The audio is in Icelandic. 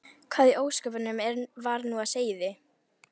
Hvað í ósköpunum var nú á seyði?